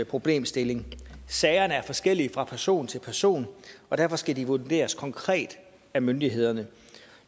problemstilling sagerne er forskellige fra person til person og derfor skal de vurderes konkret af myndighederne